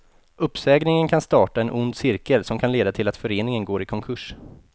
Uppsägningen kan starta en ond cirkel som kan leda till att föreningen går i konkurs.